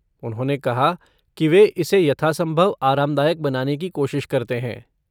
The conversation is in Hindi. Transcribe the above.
उन्होंने कहा कि वे इसे यथासंभव आरामदायक बनाने की कोशिश करते हैं।